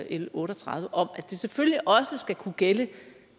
l otte og tredive om at det selvfølgelig også skal kunne gælde